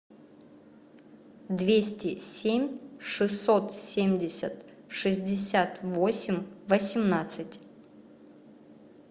двести семь шестьсот семьдесят шестьдесят восемь восемнадцать